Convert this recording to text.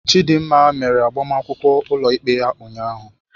Chidinma mere agbamakwụkwọ ụlọikpe ya ụnyahụ.